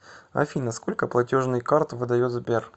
афина сколько платежный карт выдает сбер